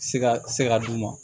Siga se ka d'u ma